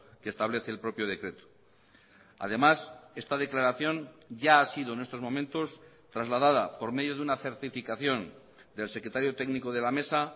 que establece el propio decreto además esta declaración ya ha sido en estos momentos trasladada por medio de una certificación del secretario técnico de la mesa